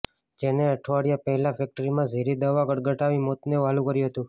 જેને અઠવાડિયા પહેલા ફેક્ટરીમાં ઝેરી દવા ગટગટાવી મોતને વ્હાલું કર્યું હતું